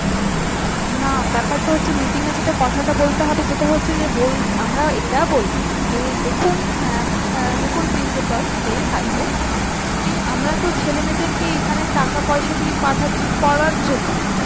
না ব্যাপারটা হচ্ছে meeting যেটা কথা বলতে হবে যেটা হচ্ছে যে বোল আমরা এটা বলব যে দেখুন mam দেখুন principal যেই থাকবে আমরা তো ছেলেমেয়েদেরকে এখানে টাকা পয়সা দিয়ে পাঠাচ্ছি পড়ার জন্য